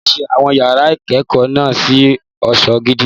Wọ́n ṣe àwọn yàrá ìkẹ́kọ̀ọ́ náà ní ọ̀ṣọ́ gidi.